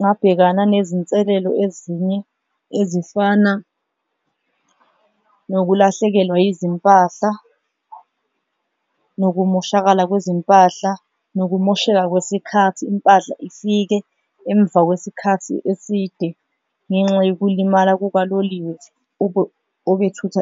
ngabhekana nezinselelo ezinye ezifana nokulahlekelwa izimpahla nokumoshakala kwezimpahla. Nokumosheka kwesikhathi impahla ifike emva kwesikhathi eside ngenxa yokulimala kukaloliwe obethutha .